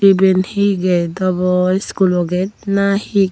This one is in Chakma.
iben he gate obo school o gate nahi.